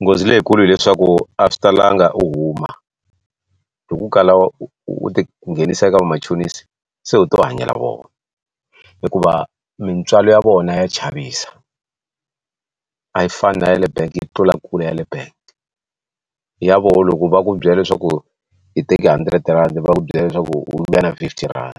Nghozi leyikulu hileswaku a swi talanga u huma loko ku kala u ti nghenisa eka vamachonisi se u ti vangela vona hikuva mintswalo ya vona ya chavisa a yi fani na ya le bangi yi tlula kule yale bank ya vona loko va ku byela leswaku i teke R100 va ku byela leswaku yi vuya na fifty rand